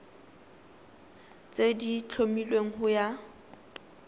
tse di tlhomilweng go ya